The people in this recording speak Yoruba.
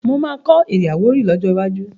Mà á kọ́ èdè Àwórì lọ́jọ́ iwájú.